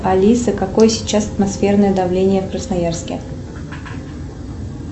алиса какое сейчас атмосферное давление в красноярске